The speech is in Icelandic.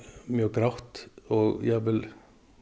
mjög grátt og jafnvel